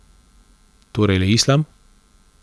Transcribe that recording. Torej le islam?